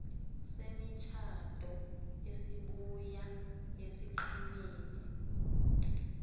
semitjhado esibuya esiqhemeni